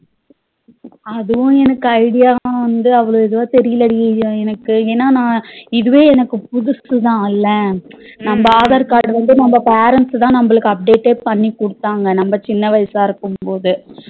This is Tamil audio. அதுவும் எனக்கு idea வந்துஅவ்ளோ இதுவா தெரியல டி எனக்கு ஏனா நா இதுவே எனக்கு புதுசுதா இல்ல நம்ம aadhar card வந்து நம்ம parents தா நம்மளுக்கு update பண்ணிகுடுதாங்க நம்ம சின்ன வயசா இருக்கும்போது